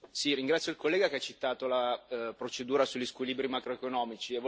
Ringrazio il collega che ha citato la procedura sugli squilibri macroeconomici.